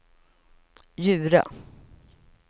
Djura